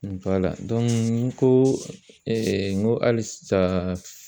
n ko n ko halisa